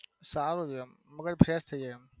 સારું છે મગજ fresh થઈ જાય એમ.